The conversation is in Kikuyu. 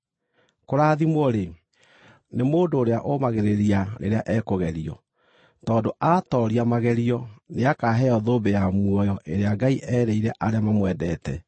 Kũrathimwo-rĩ, nĩ mũndũ ũrĩa ũũmagĩrĩria rĩrĩa ekũgerio, tondũ aatooria magerio, nĩakaheo thũmbĩ ya muoyo ĩrĩa Ngai erĩire arĩa mamwendete.